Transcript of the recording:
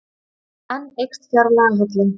Enn eykst fjárlagahallinn